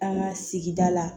An ka sigida la